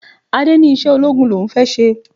Adé ní iṣẹ́ ológun l'òun fẹ́ ṣe.